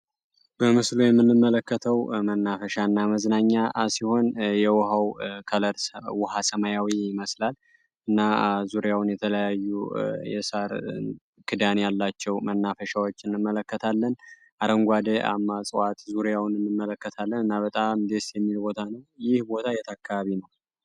በምስሉ ላይ የምንመለከተው መናፈሻ እና መዝናኛ ሲሆን የውሀው ከለር ውሃ ሰማያዊ ይመስላል እና ዙሪያውን የተለያዩ የሳር ክዳን ያላቸው አሸዎችን እንመለከታለን አረንጓዴ የጽዋት ዙሪያውን እንመለከታለን እና በጣም ደስ የሚል ሲሆን ይህ ቦታ የት አካባቢ ነው?